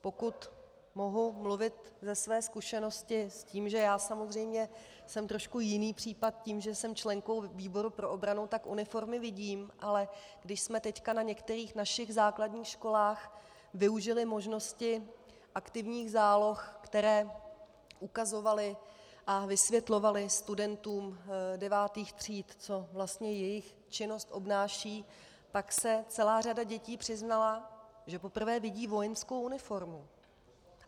Pokud mohu mluvit ze své zkušenosti, s tím, že já samozřejmě jsem trošku jiný případ tím, že jsem členkou výboru pro obranu, tak uniformy vidím, ale když jsme teď na některých našich základních školách využili možnosti aktivních záloh, které ukazovaly a vysvětlovaly studentům devátých tříd, co vlastně jejich činnost obnáší, tak se celá řada dětí přiznala, že poprvé vidí vojenskou uniformu.